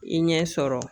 I ɲɛ sɔrɔ